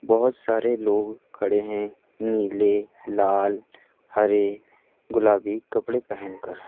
बहोत सारे लोग खड़े हैं नीले लाल हरे गुलाबी कपड़े पहनकर।